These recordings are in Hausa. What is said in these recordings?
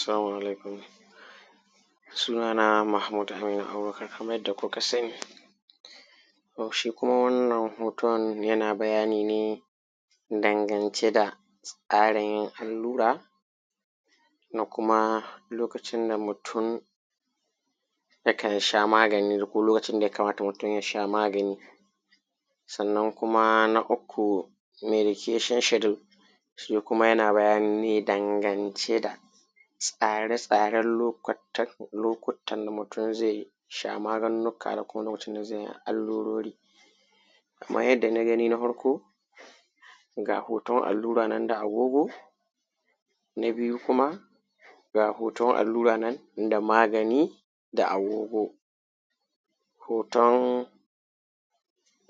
salamu alaikum sunana dai mahmud aminu abubakar kamar yadda kuka san ni shi kuma wannan hoton yana bayani ne dangance da tsarin yin allura da kuma lokacin da mutum yakan sha magani ko lokacin da mutum ya kamata ya sha magani sannan kuma na uku medication schedule shi kuma yana bayani ne dangance da tsare tsaren lokuttan da mutum zai sha maganganukka da kuma lokacin da zai allurori kaman yadda na gani na farko ga hoton allura nan da agogo na biyu kuma ga hoton allura nan da magani da agogo hoton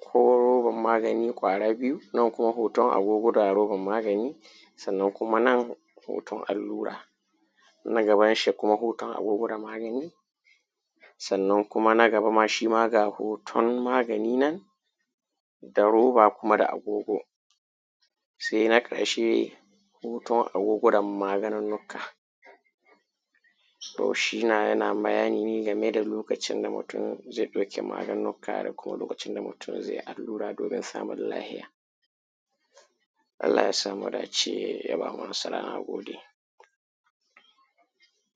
ko robar magani ƙwara biyu nan kuma hoton agogo da robar magani sannan kuma nan hoton allura wanda gabanshi kuma hoton agogo da magani sannan kuma na gaba ma shi ma ga hoton magani nan da roba kuma da agogo sai na ƙarshe hoton agogo da maganunnukka to shi na yana bayani ne game da lokacin da mutum zai ɗauki maganunnukka da kuma lokacin da mutum zai yi allura domin samun lafiya allah ya sa mu dace ya ba mu nasara na gode